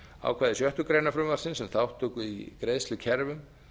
ákvæði sjöttu greinar frumvarpsins um þátttöku í greiðslukerfum